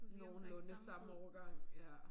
Nogenlunde samme årgang ja